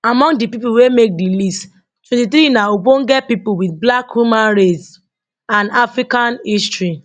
among di pipo wey make di list 23 na ogbonge pipo wit black human race and african history